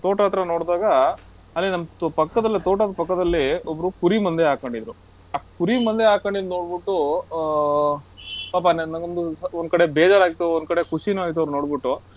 ತೋಟ ಹತ್ರ ನೋಡಿದಾಗ, ಅಲ್ಲಿ ನಮ್ ತು~ ಪಕ್ಕದಲ್ಲಿ ತೋಟದ್ ಪಕ್ಕದಲ್ಲಿ ಒಬ್ರು ಕುರಿ ಮಂದೆ ಹಾಕೊಂಡಿದ್ರು. ಆ ಕುರಿ ಮಂದೆ ಹಾಕೊಂಡಿದ್ ನೋಡ್ಬಿಟ್ಟು, ಆಹ್ ಪಾಪ ನನ್ ಮಗಂದು ಒಂದ್ ಕಡೆ ಬೇಜಾರಾಯ್ತು, ಒಂದ್ ಕಡೆ ಖುಷಿನೂ ಆಯ್ತು ಅವರ್ನೋಡ್ಬಿಟ್ಟು,